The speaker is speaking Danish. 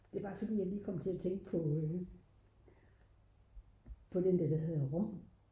det var bare fordi jeg lige kom til at tænke på den der der hedder rung